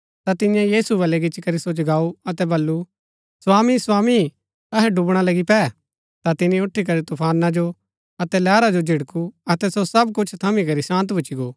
ता तियें यीशु वलै गिच्ची करी सो जगाऊ अतै वलु स्वामी स्वामी अहै डुवणा लगी पै ता तिनी ऊठीकरी तूफाना जो अतै लैहरा जो झिड़कू अतै सो सब कुछ थमी करी शान्त भूच्ची गो